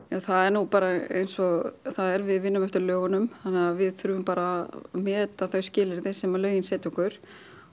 það er nú bara eins og það er við vinnum eftir lögunum þannig að við þurfum bara að meta þau skilyrði sem lögin setja okkur